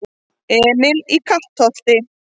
Emil í Kattholti